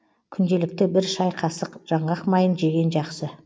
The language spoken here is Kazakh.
күнделікті бір шай қасық жаңғақ майын жеген жақсы